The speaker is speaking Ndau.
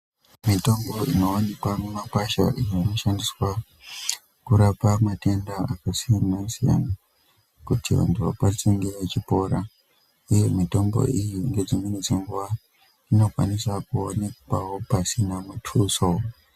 Mitombo inowanikwa mumakwasha inoshandiswa kurapa matenda akasiyana siyana kuti vantu vakwanise kunge vechipora uye mitombo iyi nedzimweni dzenguwa inokwanisa kuonekwawo vasina mutuso.